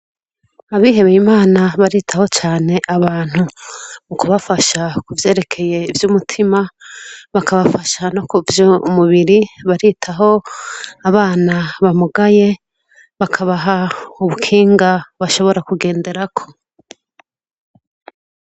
Abihebeye Imana baritaho cane abantu mu kubafasha ku vyerekeye ivy'umutima, bakabafasha no kuvy'umubiri baritaho abana bamugaye bakabaha ubukinga bashobora kugenderako.